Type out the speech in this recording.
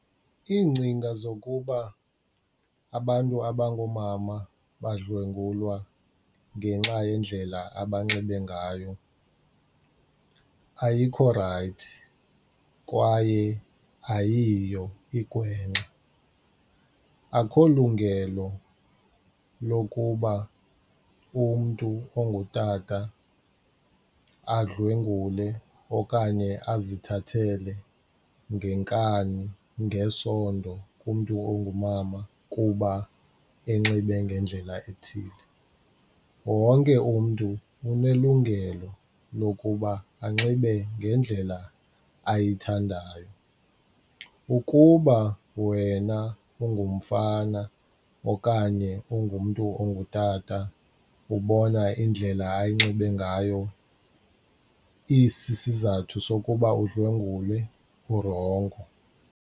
Iingcinga zokuba abantu abangoomama badlwengulwa ngenxa yendlela abanxibe ngayo ayikho rayithi kwaye ayiyo igwenxa. Akukho lungelo lokuba umntu ongutata adlwengule okanye azithathele ngenkani ngesondo kumntu ongumama kuba enxibe ngendlela ethile. Wonke umntu unelungelo lokuba anxibe ngendlela ayithandayo. Ukuba wena ungumfana okanye ungumntu ongutata ubona indlela anxibe ngayo isisizathu sokuba udlwengule urongo.